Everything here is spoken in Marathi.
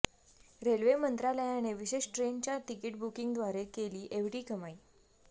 रेल्वे मंत्रालयाने विशेष ट्रेनच्या तिकीट बुकिंगद्वारे केली ऐवढी कमाई